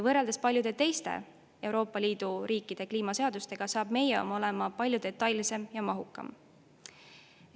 Võrreldes paljude teiste Euroopa Liidu riikide kliimaseadustega saab meie oma olema palju detailsem ja mahukam.